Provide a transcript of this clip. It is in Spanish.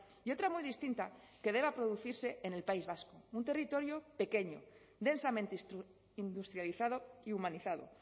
y otra muy distinta que deba producirse en el país vasco un territorio pequeño densamente industrializado y humanizado